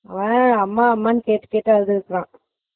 ஓ அம்மா அம்மான்ட்டு கேட்டுட்டேதா அழுதுட்டு இருந்துருக்கான்